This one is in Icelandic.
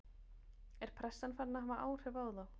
Er pressan farin að hafa áhrif á þá?